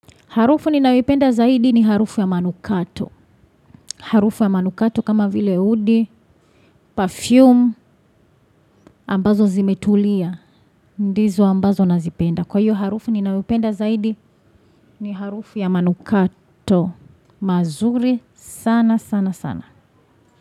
Harufu ninayoipenda zaidi ni harufu ya manukato. Harufu ya manukato kama vile udi. Perfume ambazo zimetulia. Ndizo ambazo nazipenda. Kwa hiyo harufu ninawipenda zaidi ni harufu ya manukato. Mazuri sana sana sana.